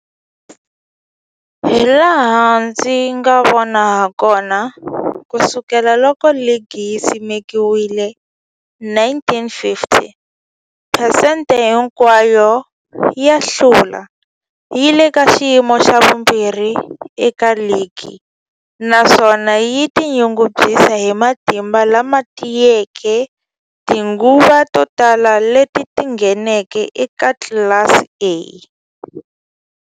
Hilaha ndzi nga vona hakona, ku sukela loko ligi yi simekiwile, 1950, phesente hinkwayo ya ku hlula yi le ka xiyimo xa vumbirhi eka ligi, naswona yi tinyungubyisa hi matimba lama tiyeke eka tinguva to tala leti yi ngheneke eka tlilasi ya A.